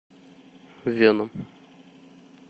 веном